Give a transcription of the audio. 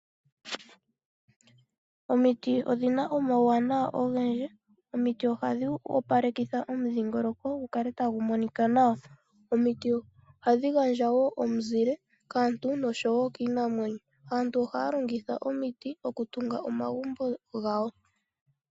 Omiti odhina omauwanawa ogendji. Omiti ohadhi opalekitha omudhingoloko gu kale tagu monika nawa. Omiti ohadhi gandja wo omizile kaantu noshowo kiinamwenyo. Aantu ohaya longitha omiti okutunga omagumbo gawo.